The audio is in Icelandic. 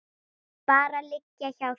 Bara liggja hjá þér.